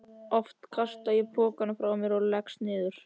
Oft kasta ég pokanum frá mér og leggst niður.